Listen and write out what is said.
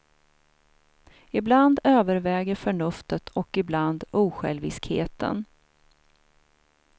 Ibland överväger förnuftet och ibland osjälviskheten.